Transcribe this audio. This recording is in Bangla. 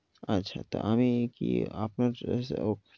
আচ্ছা তো আমি কি আপনার